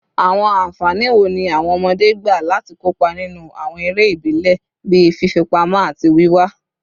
Awọn anfani wo ni awọn ọmọde gba lati kopa ninu awọn ere ibile bii fifipamọ ati wiwa?